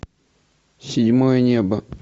седьмое небо